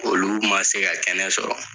Olu ma se ka kɛnɛ sɔrɔ